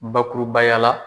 Bakurubaya la